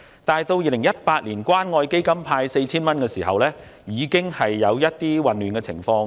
至於2018年透過關愛基金派發 4,000 元時，出現了一些混亂情況。